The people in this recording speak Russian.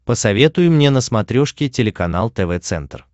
посоветуй мне на смотрешке телеканал тв центр